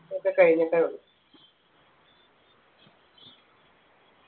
ഒക്കെ കഴിഞ്ഞിട്ടേ ഉള്ളൂ